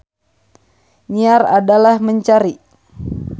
Nyiar adalah mencari.